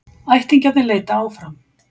Ættingjarnir leita áfram